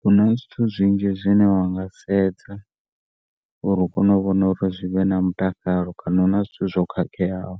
Huna zwithu zwinzhi zwine wanga sedza uri u kone u vhona uri zwivhe na mutakalo kana huna zwithu zwo khakheaho